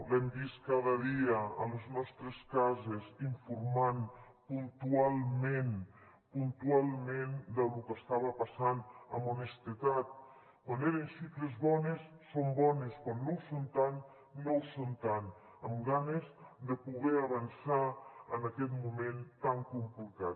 l’hem vist cada dia a les nostres cases informant puntualment puntualment del que estava passant amb honestedat quan eren xifres bones són bones quan no ho són tant no ho són tant amb ganes de poder avançar en aquest moment tan complicat